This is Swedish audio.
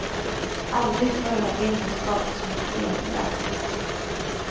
Aldrig förr har vinden skapat så mycket elkraft.